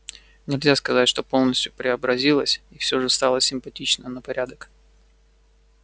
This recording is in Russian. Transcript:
нельзя сказать что полностью преобразилась и всё же стала симпатичнее на порядок